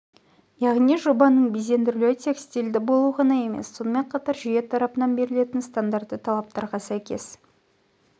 яғни жобаның безендірілуі тек стильді болу ғана емес сонымен қатар жүйе тарапынан берілетін стандартты талаптарға сәйкес